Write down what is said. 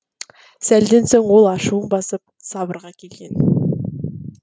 сәлден соң ол ашуын басып сабырға келген